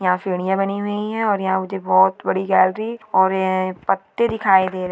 यहाँ सिडिया बनी हुई है और यहाँ मुझे बहुत बड़ी गैलरी और ए पत्ते दिखाई दे र--